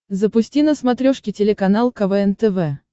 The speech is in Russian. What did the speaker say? запусти на смотрешке телеканал квн тв